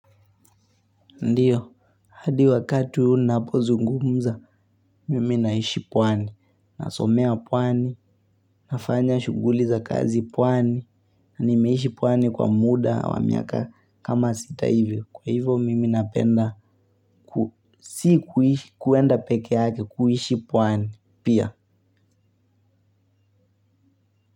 Ndiyo, hadi wakati unapo zungumza, mimi naishi pwani, nasomea pwani, nafanya shughuli za kazi pwani, na nimeishi pwani kwa muda wa miaka kama sita hivyo, kwa hivyo mimi napenda, si kuenda pekee yake, kuishi pwani, pia.